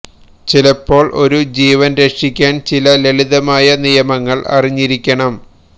ചിലപ്പോൾ ഒരു ജീവൻ രക്ഷിക്കാൻ ചില ലളിതമായ നിയമങ്ങൾ അറിഞ്ഞിരിക്കണം